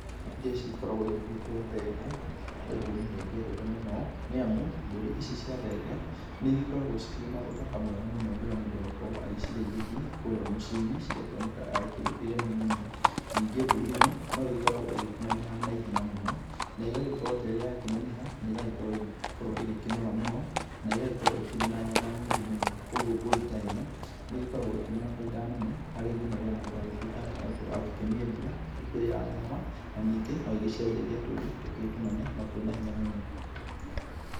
Iria cigĩkoragwo igĩgĩtwo thenge, nĩ mbũri niĩ ngĩendete mũno, nĩ amu mbũri ici cia thenge nĩigĩkoragwo ciĩ na ũthaka mwega mũno rĩrĩa mũndũ agũkorwo agĩcirĩithĩtie kũrĩa mũciĩ-inĩ. Cigakĩoneka aírĩ kĩndũ kĩgemu mũno. Ningĩ mbũri ĩno no ĩgĩkoragwo ĩgĩkĩneneha na ihenya mũno, negagĩkorwo terĩ ya kĩneneha nĩ ĩrakorwo ĩgĩkorwo ĩkĩnora mũno na ĩgagĩkorwo ĩkĩrĩ na nyama nyingĩ mũno. Koguo mbũri ta ĩno nĩ ĩgĩkoragwo ĩna baida nene harĩ nginya mũndũ agĩtuĩkaga atĩ nĩagũkorwo agĩkĩmĩendia ĩkĩrĩ ya nyama, na ningĩ no ĩgĩciarithagia tũũri túkĩrĩ tũnene na twĩna hinya mũno.